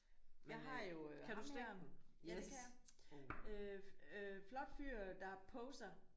Jeg har jo ham her ja det kan jeg. Øh flot fyr der poser